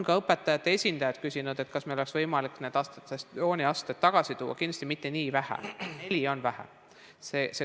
Ka õpetajate esindajad on küsinud, kas meil oleks võimalik atestatsiooniastmed tagasi tuua, kuid kindlasti mitte nii vähe, neli on vähe.